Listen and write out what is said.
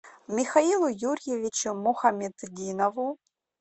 михаилу юрьевичу мухаметдинову